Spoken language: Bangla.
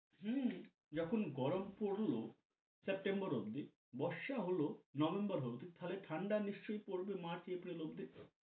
হম যখন গরম পরল September অব্দি বর্ষা হল November হল তাহলে ঠান্ডা নিশ্চই পরবে March, April অব্দি।